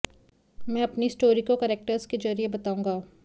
मैं अपनी स्टोरी को करेक्टर्स के जरिए बताऊंगा